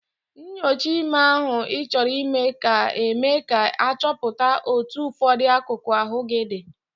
Nnyocha ime ahụ Ị chọrọ ime ka eme ka achọpụta otu ụfọdụ akụkụ ahụ gị dị.